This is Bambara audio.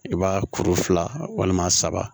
I b'a kuru fila walima saba